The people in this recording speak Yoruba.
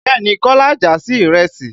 Bẹ́ẹ̀ni, Kọ́lá ń jà sí ìrẹsì.